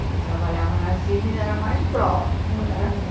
Ele trabalhava na Simes, era o mais próximo, né?